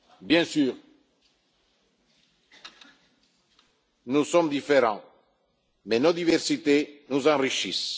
Bien sûr, nous sommes différents, mais nos diversités nous enrichissent.